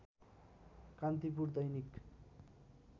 Kantipur Dainik